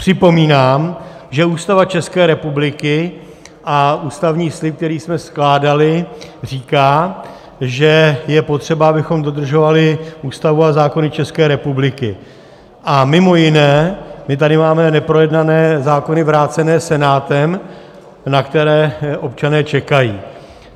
Připomínám, že Ústava České republiky a ústavní slib, který jsme skládali, říká, že je potřeba, abychom dodržovali Ústavu a zákony České republiky, a mimo jiné my tady máme neprojednané zákony vrácené Senátem, na které občané čekají.